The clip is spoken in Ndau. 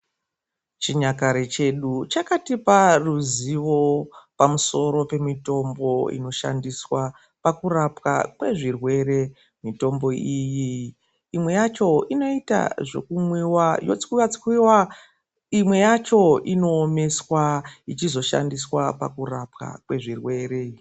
Chinyakare chedu chakatipa ruzivo pamusoro pemitombo inoshandiswa pakurapwa kwezvirwere, mitombo iyi imwe yacho inoita zvekumwiwa yotswiwa tswiwa, imwe yacho inoomeswa ichizo shandiswa pakurapwa kwezvirwere